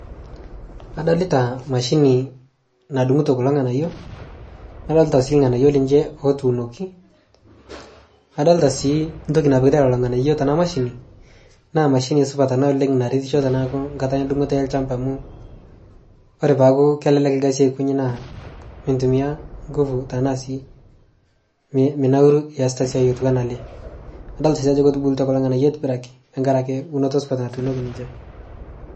kadolitaa mashinii nadungutoo kuloo nghanayo nadolita sii lghanayo ninshe otuunoki kadolita sii ntoki napikitai lolo lghanayo tana mashini naa mashini supat anaa oleng naretisho tanaaku nkata endungoto e lshampa amu kore peaku kelelek lgazii aikonyii naaku naa mintumia nguvu tanaa sii minauruu iasita siai otuwana alee kadolita sii ajo kotubulutua kulo lghanayo aitibiraki tankarake unoto supat natuunoki ninshee